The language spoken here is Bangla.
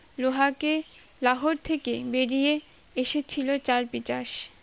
লোহাকে লাহর থেকে বেরিয়ে এসেছিলো চারপিচার্স